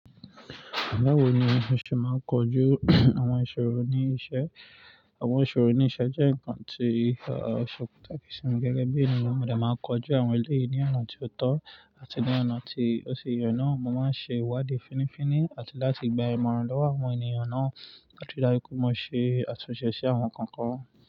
Báwo ni mo ṣe máa ń kojú àwọn ìṣòro ní iṣẹ́? Àwọn ìṣòro ní iṣẹ́ jẹ́ ǹkan tí o se patàkì sí mi gẹ́gẹ́ bí ènìyàn. Mo dẹ máa ń kojú àwọn èlé yìí ní ọ̀nà tí ó tọ́ àti ní ọ̀nà tí ó ṣi yee náà. Mo máa ń ṣe ìwádìí fínnífínní àti láti gba ìmọ̀ràn lọ́wọ́ àwọn ènìyàn náà láti ri daju pe mo ṣe àtúnṣe sí àwọn nkan kan.